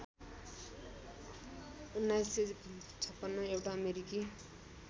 १९५६ एउटा अमेरिकी